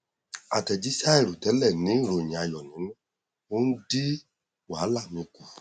àtẹjíṣẹ àìrò tẹlẹ ní ìròyìn ayọ nínú ó n dín wàhálà mi kù